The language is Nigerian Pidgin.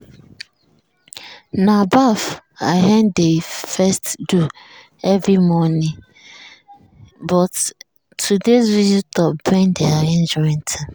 na baff i um dey first do every morning um but today's visitor bend the arrangement.